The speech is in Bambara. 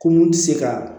Ko mun tɛ se ka